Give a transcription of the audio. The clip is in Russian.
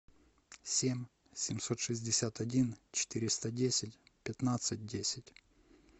семь семьсот шестьдесят один четыреста десять пятнадцать десять